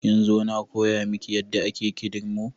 Kin zo na koya miki yadda ake kindirmo?